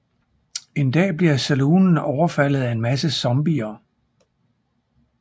En dag bliver saloonen overfaldet af en masse zombier